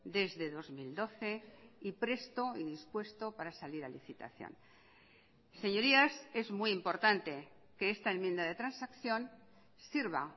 desde dos mil doce y presto y dispuesto para salir a licitación señorías es muy importante que esta enmienda de transacción sirva